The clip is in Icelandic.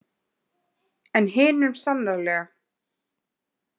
En hinum sannarlega.